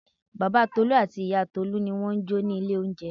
Bàbá Tolu àti ìyá Tolu ni wọ́n jọ ni ilé oúnjẹ.